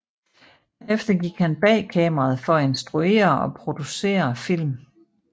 Derefter gik han bag kameraet for at instruere og producere film